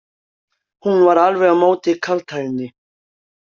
Hún var alveg á móti kaldhæðni.